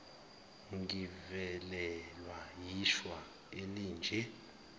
ngivelelwa yishwa elinje